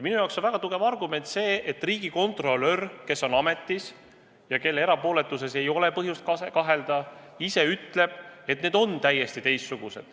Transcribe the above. Minu jaoks on väga tugev argument see, et riigikontrolör, kes on ametis ja kelle erapooletuses ei ole põhjust kahelda, ütleb, et need ülesanded on täiesti teistsugused.